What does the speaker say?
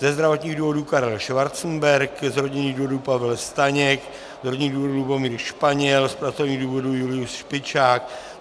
Ze zdravotních důvodů Karel Schwarzenberg, z rodinných důvodů Pavel Staněk, z rodinných důvodů Lubomír Španěl, z pracovních důvodů Julius Špičák.